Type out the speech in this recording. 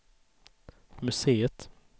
museet